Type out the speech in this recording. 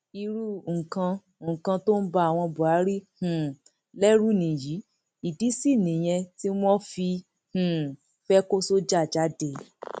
irú nǹkan nǹkan tó ń ba àwọn buhari um lẹrù nìyí ìdí sì nìyẹn tí wọn fi um fẹẹ kó sọjà jáde